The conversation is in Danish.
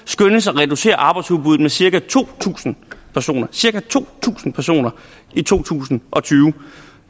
skønnes at reducere arbejdsudbuddet med cirka to tusind tusind personer i to tusind og tyve